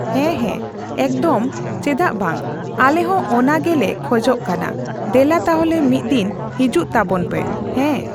ᱦᱮᱸ, ᱦᱮᱸ, ᱮᱠᱫᱚᱢ ᱪᱮᱫᱟᱜ ᱵᱟᱝ᱾ ᱟᱞᱮ ᱦᱚᱸ ᱚᱱᱟ ᱜᱮᱞᱮ ᱠᱷᱚᱡᱚᱜ ᱠᱟᱱᱟ ᱫᱮᱞᱟ ᱛᱟᱞᱦᱮ ᱢᱤᱫ ᱫᱤᱱ ᱦᱤᱡᱩᱜ ᱛᱟᱵᱚᱱ ᱯᱮ᱾ ᱦᱮᱸ᱾